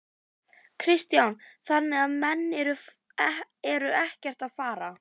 Kristján: Þannig að menn eru ekkert að fara?